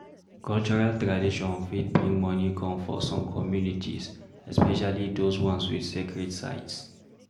Cultural tradition fit bring money come for some communities especially those ones with sacred sites